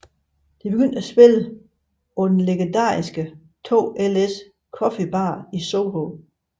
De begyndte at spille på den legendariske 2 Is Coffee bar i Soho